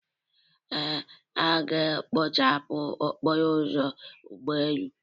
Ee, a ga-ekpochapụ ọkpọrọ ụzọ ụgbọelu.